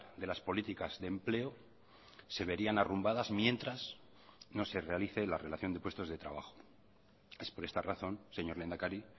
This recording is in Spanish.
de las políticas de empleo se verían arrumbadas mientras no se realice la relación de puestos de trabajo es por esta razón señor lehendakari